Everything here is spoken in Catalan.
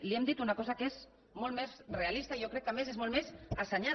li hem dit una cosa que és molt més realista i jo crec que a més és molt més assenyada